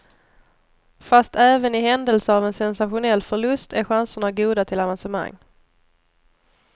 Fast även i händelse av en sensationell förlust är chanserna goda till avancemang.